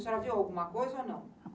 A senhora viu alguma coisa ou não?